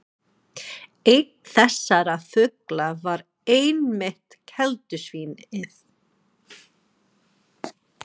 Einn þessara fugla var einmitt keldusvín- ið.